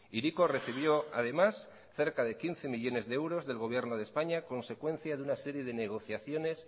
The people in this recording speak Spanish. hiriko recibió además cerca de quince millónes de euros del gobierno de españa consecuencia de una serie de negociaciones